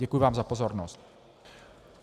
Děkuji vám za pozornost.